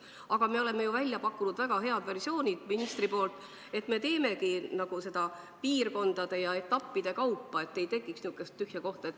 Aga me oleme ju ministriga välja pakkunud väga head versioonid: teeme seda reformi piirkondade ja etappide kaupa, et ei tekiks niisugust tühja kohta.